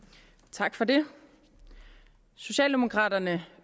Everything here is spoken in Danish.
tak for det socialdemokraterne